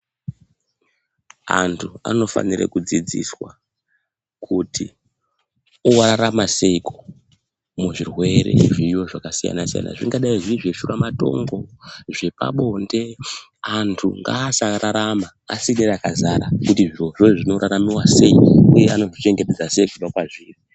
Antu anofana kudzidziswa kuti orarama Seiko muzvirwere zviriyo zvakasiyana-siyana zvingadai Zviri zveshura matongo zvepabonde antu ngasararama asina rakazara kuti zvirozvo zvinorarama sei uye anozvichengetedza sei kubva mazviri.